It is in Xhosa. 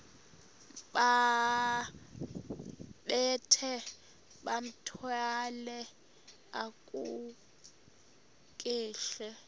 bambathe bathwale kakuhle